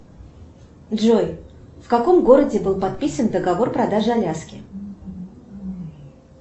джой в каком городе был подписан договор продажи аляски